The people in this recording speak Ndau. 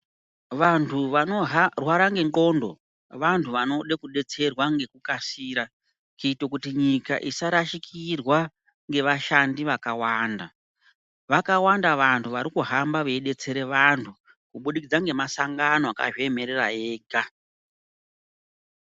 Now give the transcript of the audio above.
Vanthu vanorwara nendxondo vanthu vanode kudetserwa ngekukasira kuita kuti nyika isarashikirwa ngevashandi vakawanda vakawanda vanthu vari kuhamba veidetsera vanthu kubudikidza ngemasangano akazviemerera ega.